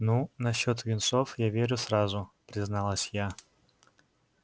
ну насчёт юнцов я верю сразу призналась я